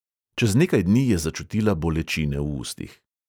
Čez nekaj dni je začutila bolečine v ustih.